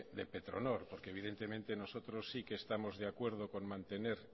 de petronor porque evidentemente nosotros sí que estamos de acuerdo con mantener